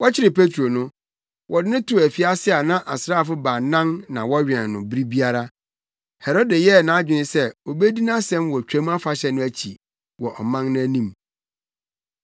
Wɔkyeree Petro no, wɔde no too afiase a na asraafo baanan na wɔwɛn no bere biara. Herode yɛɛ nʼadwene sɛ obedi nʼasɛm wɔ Twam Afahyɛ no akyi wɔ ɔman no anim.